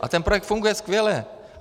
A ten projekt funguje skvěle.